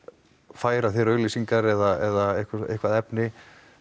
færa þér auglýsingar eða eitthvað efni